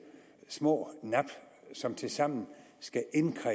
små nap som tilsammen skal